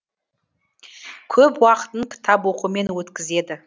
көп уақытын кітап оқумен өткізеді